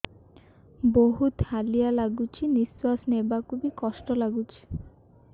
ବହୁତ୍ ହାଲିଆ ଲାଗୁଚି ନିଃଶ୍ବାସ ନେବାକୁ ଵି କଷ୍ଟ ଲାଗୁଚି